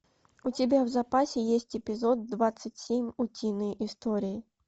у тебя в запасе есть эпизод двадцать семь утиные истории